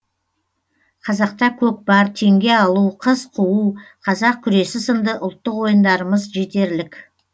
қазақта көкпар теңге алу қыз қуу қазақ күресі сынды ұлттық ойындарымыз жетерлік